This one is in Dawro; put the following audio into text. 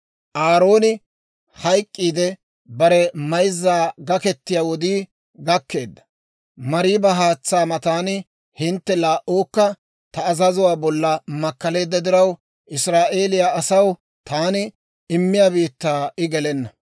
«Aarooni hayk'k'iide bare mayzzan gaketiyaa wodii gakkeedda. Mariiba haatsaa matan hintte laa"uukka ta azazuwaa bolla makkaleedda diraw, Israa'eeliyaa asaw taani immiyaa biittaa I gelenna.